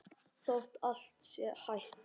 Þótt allt sé hætt?